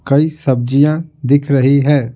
कई सब्जियां दिख रही है।